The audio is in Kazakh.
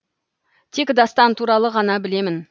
тек дастан туралы ғана білемін